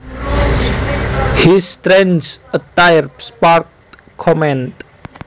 His strange attire sparked comment